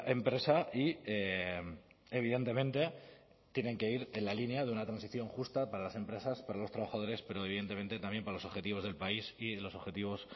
empresa y evidentemente tienen que ir en la línea de una transición justa para las empresas para los trabajadores pero evidentemente también para los objetivos del país y los objetivos